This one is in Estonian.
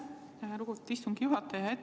Aitäh, lugupeetud istungi juhataja!